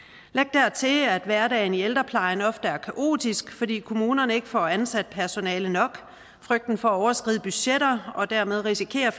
dertil at hverdagen i ældreplejen ofte er kaotisk fordi kommunerne ikke får ansat personale nok frygten for at overskride budgetter og dermed risikere